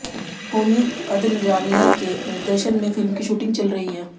होमी अदजानिया के निर्देशन में फिल्म की शूटिंग चल रही है